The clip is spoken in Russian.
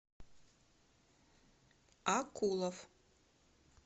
акулов